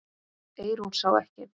Eyrún sá ekki.